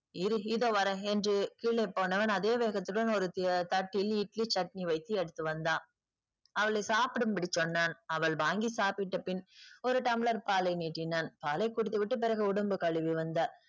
இரு இதோ வர்றேன் என்று கீழே போனவன் அதே வேகத்துடன் ஒரு த~ தட்டில் இட்லி சட்னி வைத்து எடுத்து வந்தான். அவளை சாப்பிடும்படி சொன்னான். அவள் வாங்கி சாப்பிட்ட பின் ஒரு tumbler பாலை நீட்டினான். பாலை குடித்து விட்டு பிறகு உடம்பு கழுவி வந்தாள்.